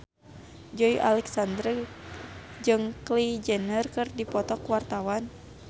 Joey Alexander jeung Kylie Jenner keur dipoto ku wartawan